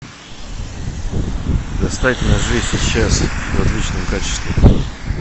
достать ножи сейчас в отличном качестве